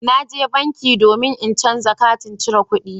Na je banki domin in canza katin cire kuɗina